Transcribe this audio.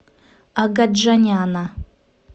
агаджаняна